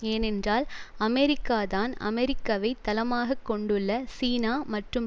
ஏனென்றால் அமெரிக்கா தான் அமெரிக்கவைத் தளமாக கொண்டுள்ள சீனா மற்றும்